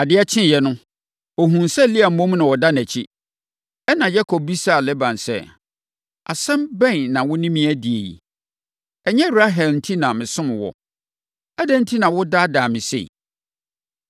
Adeɛ kyeeɛ no, ɔhunuu sɛ Lea mmom na ɔda nʼakyi. Ɛnna Yakob bisaa Laban sɛ, “Asɛm bɛn na wo ne me adi yi? Ɛnyɛ Rahel enti na mesom wo? Adɛn enti na woadaadaa me sei?”